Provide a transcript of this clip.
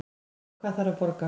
En hvað þarf að borga